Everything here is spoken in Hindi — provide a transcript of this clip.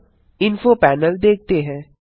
अबinfo पैनल देखते हैं